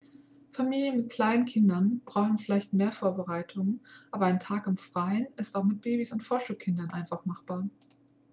familien mit kleinen kindern brauchen vielleicht mehr vorbereitungen aber ein tag im freien ist auch mit babys und vorschulkindern einfach machbar